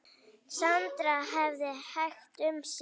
Sandra hafði hægt um sig.